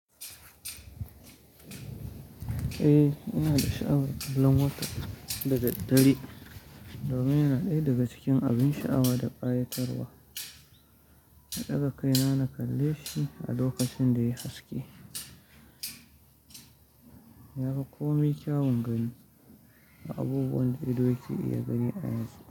Eh, ina da sha'awar kallon wata dadadare domin yana ɗaya daga cikin abun sha'awa da ƙayatarwa. Na ɗaga kai na na kalle shi a lokacin da ya haske. Yafi komai kyawun gani da abubuwan da ido yake iya gani a yanzu.